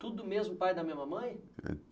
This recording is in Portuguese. Tudo do mesmo pai e da mesma mãe?